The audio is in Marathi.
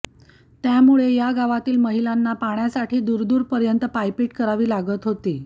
त्यामुळे या गावातील महिलांना पाण्यासाठी दूरदूरपर्यंत पायपीट करावी लागत होती